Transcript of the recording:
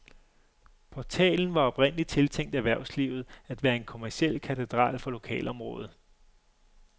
Portalen var oprindeligt tiltænkt erhvervslivet, at være en kommerciel katedral for lokalområdet.